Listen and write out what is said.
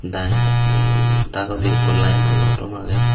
dai dagodi ekko laino luo tom ekko agey.